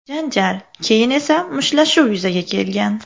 Janjal, keyin esa mushtlashuv yuzaga kelgan.